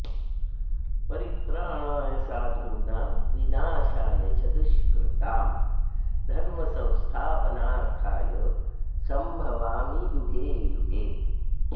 परित्राणाय साधूनां विनाशाय च दुष्कृताम् धर्मसंस्थापनार्थाय सम्भवामि युगे युगे